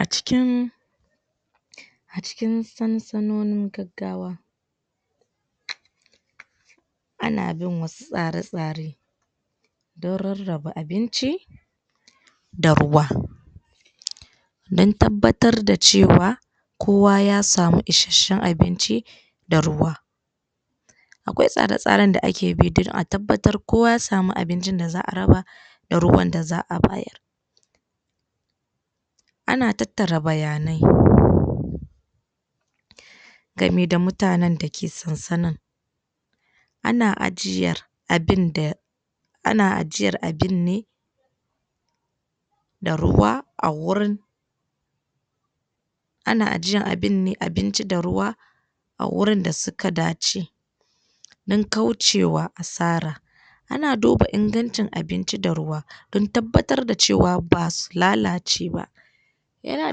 A cikin a cikin gaggawa a na bin wasu tsare-tsare don raraba abinci, da don tabbatar da cewa kowa ya samu ishashen abinci da ruwa. Akwai tsare-tsaren da ake bi don tabbatar kowa ya samu abincin da za'a raba da ruwan da za'a bayar. Ana tattara bayanai game da mutane dake tsatsana ana ajiyar abun da ana ajiyar ne da ruwa a wurin A na ajiyar abun ne abinci da ruwa a wurin da suka dace don kaucewa asara Ana duba ingancin abinci da ruwa don tabbatar da cewa basu lalace ba yana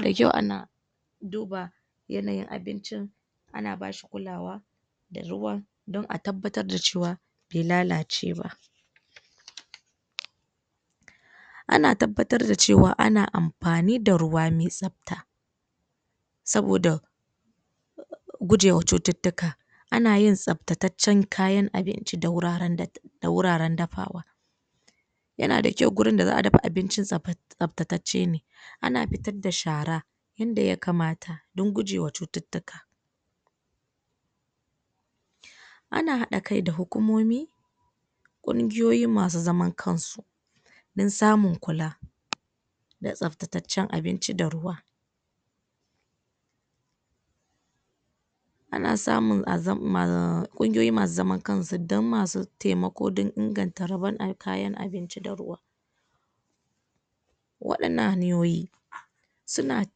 da kyau ana duba yanayin abincin ana bashi kulawa da ruwan don a tabbatar da cewa be lalace ba. Ana tabbatar da cewa, ana amfani da ruwa me tsabta saboda gujewa cuttutuka ana yin tsabtancen kayan abinci da wuraren da wuraren dafawa. Yana da kyau wurin da za'a dafa abinci, tsabtacece ne ana fitar da shara in da ya kamata don guje wa cuttutuka. Ana hada kai da hukumomi kungiyoyi masu zaman kan su don samun kula. Don tsabtacecen abinci da ruwa Ana samun kungiyoyi masu zaman kan su don masu taimako don inganta kayan abinci da ruwa. wafannan hanyoyi. suna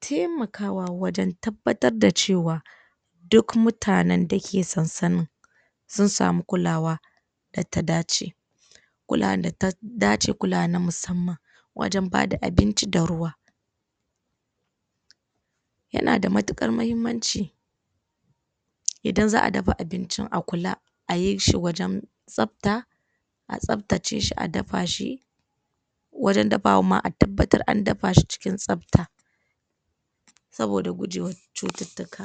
taimakawa wajen, tabbatar da cewa, duk mutanen da ke sasanan sun samu kulawa da ta dace. kulawa da ta dace, kulawa na musamman wajen ba da abinci da ruwa Yana da matukar muhimmanci idan za'a dafa abincin a kula, a yi shi wajen tsabta a tsatace shi a dafa shi wajen dafawan ma a tabbatar da an dafa shi wajen tsabta saboda gujewan cuttutuka